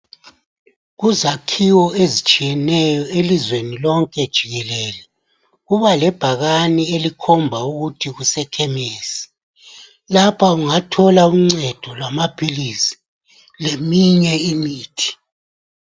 Kuzakhiwo ezitshiyeneyo elizweni lonke jikelele kuba lebhakane elikhomba ukuthi kuseKhemesi lapha ungathola uncedo lwamaphilisi leminye imithi.